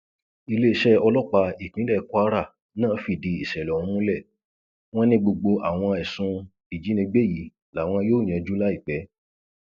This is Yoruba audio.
iléeṣẹ ọlọpàá ìpínlẹ kwara náà fìdí ìṣẹlẹ ọhún múlẹ wọn ni gbogbo àwọn ẹsùn ìjínigbé yìí làwọn yóò yanjú láìpẹ